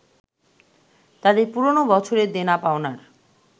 তাদের পুরনো বছরের দেনা-পাওনার